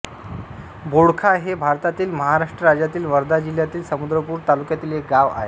बोडखा हे भारतातील महाराष्ट्र राज्यातील वर्धा जिल्ह्यातील समुद्रपूर तालुक्यातील एक गाव आहे